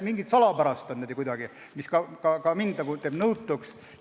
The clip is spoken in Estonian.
Midagi salapärast on selles ja see teeb ka mind nõutuks.